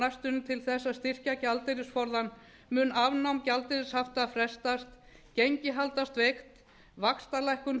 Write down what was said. á næstunni til þess að styrkja gjaldeyrisforðann mun afnám gjaldeyrishafta frestast gengi haldast veikt vaxtalækkun